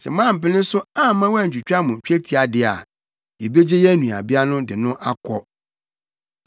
Sɛ moampene so amma wɔantwitwa mo twetia de a, yebegye yɛn nuabea de no akɔ.”